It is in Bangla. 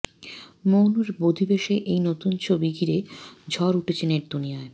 মৌনীর বধূবেশে এই নতুন ছবি ঘিরেও ঝড় উঠেছে নেটদুনিয়ায়